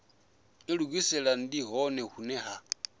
ilugisela ndi hone hune ha